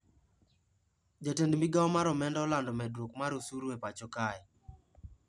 Jatend migao mar omenda olando medruok mar usuru e pacho kae